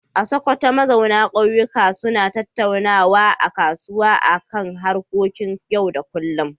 A Sokoto, mazauna kauyuka suna tattaunawa a kasuwa a kan harkokin yau da kullum.